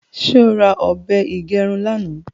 ṣe ọ rà òbé igerun lànà?